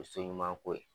O ye so ɲuman ko ye